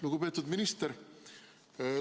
Lugupeetud minister!